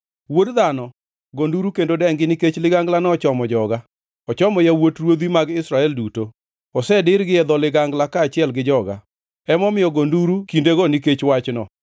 Wuod dhano, go nduru kendo dengi, nikech liganglano ochomo joga; ochomo yawuot ruodhi mag Israel duto. Osedirgi e dho ligangla kaachiel gi joga. Emomiyo go nduru kindego nikech wachno!